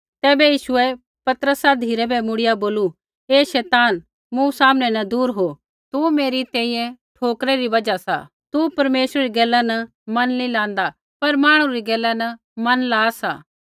तैबै यीशुऐ पतरसा धिराबै मुड़िया बोलू हे शैतान मूँ सामनै न दूर हो तू मेरी तैंईंयैं ठोकरा री बजहा सा तू परमेश्वरै री गैला न मन नी लाँदा पर मांहणु री गैला न मन ला सा